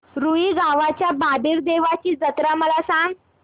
रुई गावच्या बाबीर देवाची जत्रा मला सांग